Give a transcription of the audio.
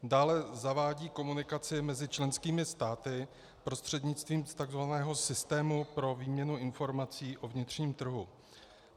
Dále zavádí komunikaci mezi členskými státy prostřednictvím takzvaného systému pro výměnu informací o vnitřním trhu.